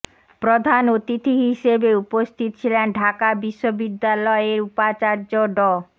প্রধান অতিথি হিসেবে উপস্থিত ছিলেন ঢাকা বিশ্ববিদ্যালয়ের উপাচার্য ড